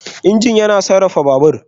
Injin yana sarrafa Babur.